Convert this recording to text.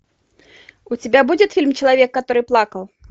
у тебя будет фильм человек который плакал